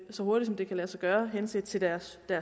så hurtigt som det kan lade sig gøre henset til deres